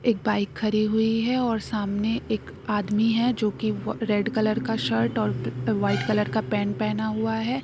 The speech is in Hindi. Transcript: एक बाइक खड़ी हुई है सामने एक आदमी है जो की रेड कलर का शर्ट और व्हाइट कलर का पैंट पहना हुआ है।